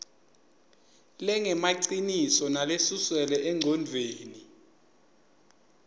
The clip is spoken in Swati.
lengemaciniso nalesuselwe engcondvweni